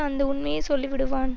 அந்த உண்மையை சொல்லி விடுவான்